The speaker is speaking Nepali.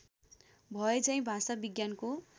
भए झैँ भाषाविज्ञानको